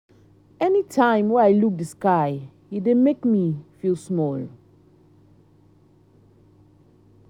anytime wey i um look di sky e dey make me feel small.